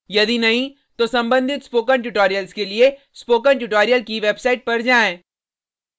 यदि नहीं तो कृपया संबंधित स्पोकन ट्यूटोरियल्स के लिए स्पोकन ट्यूटोरियल की वेबसाइट पर जाएँ